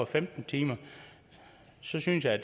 femten timer synes jeg